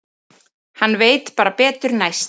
Hann veit bara betur næst.